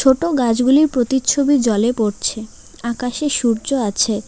ছোটো গাছগুলির প্রতিচ্ছবি জলে পড়ছে আকাশে সূর্য আছে।